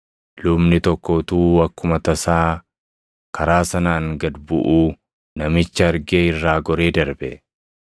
Lubni tokko utuu akkuma tasaa karaa sanaan gad buʼuu namicha argee irraa goree darbe.